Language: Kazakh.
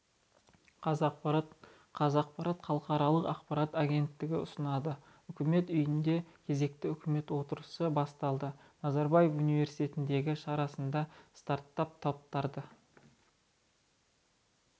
қазақпарат қазақпарат халықаралық ақпарат агенттігі ұсынады үкімет үйінде кезекті үкімет отырысы басталады назарбаев университетіндегі шарасында стартап-топтарды